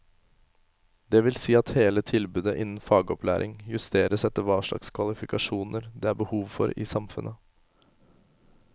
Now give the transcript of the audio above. Det vil si at hele tilbudet innen fagopplæring justeres etter hva slags kvalifikasjoner det er behov for i samfunnet.